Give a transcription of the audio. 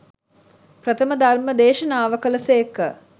ප්‍රථම ධර්ම දේශනාව කළ සේක.